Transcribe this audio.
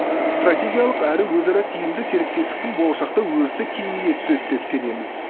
стратегиялық әрі өзара тиімді серіктестіктің болашақта өрісі кеңейе түседі деп сенеміз